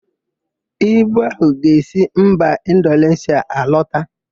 Ibu áhụ̀ ga-esi mba Indoneshịa alọta.